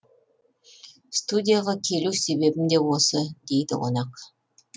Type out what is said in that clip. студияға келу себебім де осы дейді қонақ